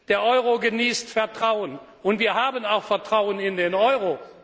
Der Euro genießt Vertrauen und wir haben auch Vertrauen in den Euro.